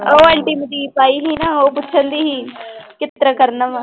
ਉਹ ਆਂਟੀ ਮਨਦੀਪ ਆਈ ਸੀ ਨਾ ਉਹ ਪੁੱਛਣਡੀ ਸੀ ਕਿਸ ਤਰ੍ਹਾਂ ਕਰਨਾ ਵਾਂ।